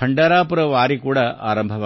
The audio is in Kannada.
ಪಂಢರಪುರ ವಾರಿ ಕೂಡ ಆರಂಭವಾಗಲಿದೆ